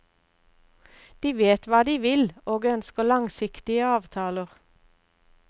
De vet hva de vil, og ønsker langsiktige avtaler.